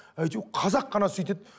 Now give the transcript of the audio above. қазақ қана сөйтеді